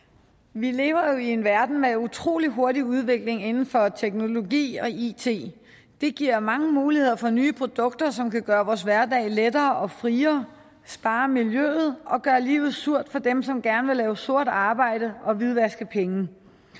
vi lever jo i en verden med en utrolig hurtig udvikling inden for teknologi og it det giver mange muligheder for nye produkter som kan gøre vores hverdag lettere og friere spare miljøet og gøre livet surt for dem som gerne vil lave sort arbejde og hvidvaske penge